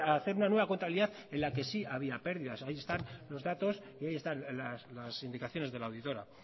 hacer una nueva contabilidad en la que sí había pérdidas ahí están los datos y ahí están las indicaciones de la auditora